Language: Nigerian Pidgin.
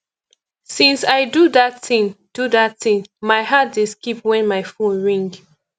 since i do dat thing do dat thing my heart dey skip wen my phone ring